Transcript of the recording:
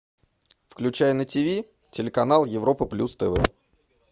включай на тв телеканал европа плюс тв